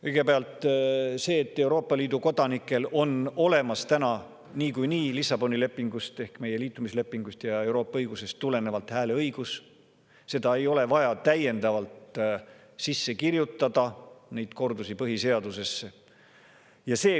Kõigepealt, seda, et Euroopa Liidu kodanikel on Lissaboni lepingust ehk meie liitumislepingust ja Euroopa õigusest tulenevalt niikuinii hääleõigus olemas, ei ole vaja kordusena põhiseadusesse sisse kirjutada.